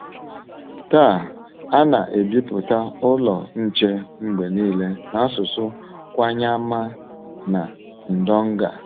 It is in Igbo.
Taa, a na - ebipụta Ụlọ Nche mgbe nile n’asụsụ Kwanyama na Ndonga.